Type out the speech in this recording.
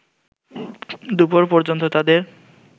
দুপুর পর্যন্ত তাদের